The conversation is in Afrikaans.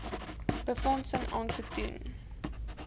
befondsing aansoek doen